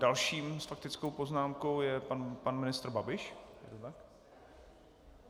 Dalším s faktickou poznámkou je pan ministr Babiš.